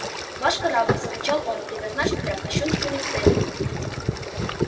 ваш корабль вскричал он предназначен для кощунственных целей